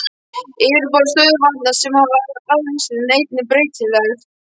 Yfirborð stöðuvatna sem hafa afrennsli er einnig breytilegt.